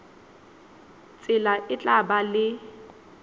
tsela e tla ba le